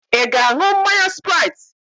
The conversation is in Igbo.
Ị ga-aṅụ mmanya spraiti?